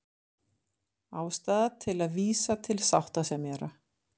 Ástæða til að vísa til sáttasemjara